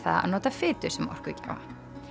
að nota fitu sem orkugjafa